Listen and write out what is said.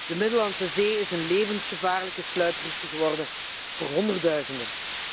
De Middellandse Zee is een levensgevaarlijke sluiproute geworden voor honderdduizenden.